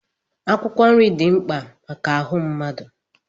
Akwụkwọ nri dị mkpa maka ahụ mmadụ.